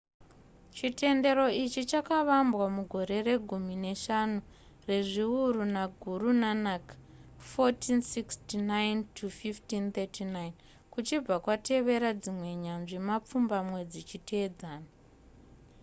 chitendero ichi chakavambwa mugore regumi neshanu rezviuru naguru nanak 1469-1539. kuchibva kwatevera dzimwe nyanzvi mapfumbamwe dzichiteedzana